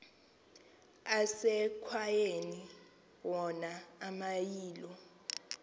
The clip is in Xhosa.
asekwayaleni wona amayilo